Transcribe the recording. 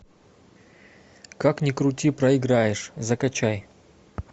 как ни крути проиграешь закачай